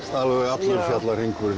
allur fjallahringurinn